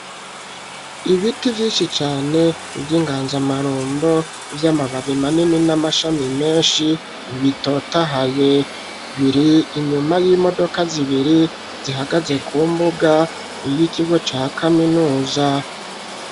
Ibiti vyinshi cane, vy'inganzamarumbo, vy'amababi manini, n'amashami menshi, bitotahaye; biri inyuma y'imodoka zibiri, zihagaze ku mbuga, y'ikigo ca kaminuza.